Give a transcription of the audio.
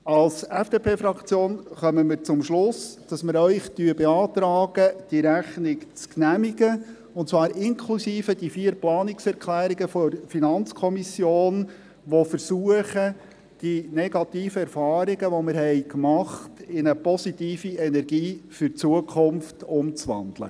Als FDP-Fraktion kommen wir zum Schluss, dass wir Ihnen beantragen, diese Rechnung zu genehmigen, und zwar inklusive der vier Planungserklärungen der FiKo, die versuchen, die negativen Erfahrungen, die wir gemacht haben, in eine positive Energie für die Zukunft umzuwandeln.